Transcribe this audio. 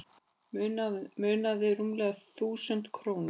Munaði rúmlega þúsund krónum